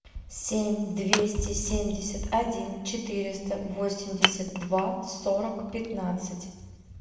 семь двести семьдесят один четыреста восемьдесят два сорок пятнадцать